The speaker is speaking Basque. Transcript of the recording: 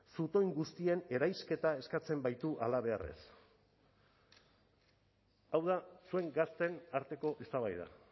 zutoin guztien eraisketa eskatzen baitu halabeharrez hau da zuen gazteen arteko eztabaida